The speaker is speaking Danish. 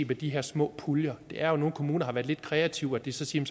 på de her små puljer er jo at nogle kommuner har været lidt kreative og at de så siger